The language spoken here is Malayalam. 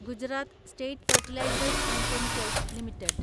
Gujarat State Fertilizers and Chemicals limited